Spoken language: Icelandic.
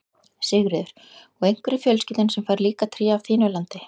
Sigríður: Og einhver í fjölskyldunni sem fær líka tré af þínu landi?